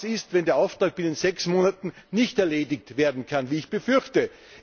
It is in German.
Was ist, wenn der Auftrag binnen sechs Monaten nicht erledigt werden kann, wie ich befürchte?